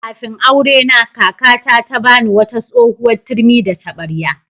Kafin aurena, kakata ta ba ni wata tsohuwar turmi da taɓarya.